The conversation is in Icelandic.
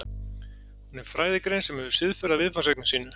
hún er fræðigrein sem hefur siðferði að viðfangsefni sínu